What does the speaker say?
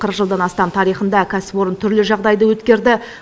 қырық жылдан астам тарихында кәсіпорын түрлі жағдайды өткерді